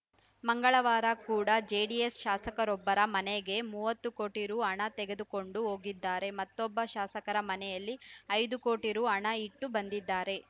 ಮಂಗಳವಾರ ಕೂಡ ಜೆಡಿಎಸ್‌ ಶಾಸಕರೊಬ್ಬರ ಮನೆಗೆ ಮೂವತ್ತು ಕೋಟಿ ರು ಹಣ ತೆಗೆದುಕೊಂಡು ಹೋಗಿದ್ದಾರೆ ಮತ್ತೊಬ್ಬ ಶಾಸಕರ ಮನೆಯಲ್ಲಿ ಐದು ಕೋಟಿ ರು ಹಣ ಇಟ್ಟು ಬಂದಿದ್ದಾರೆ